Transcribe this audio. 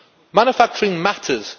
Manufacturing matters.